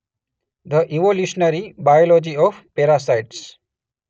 The evolutionary biology of parasites.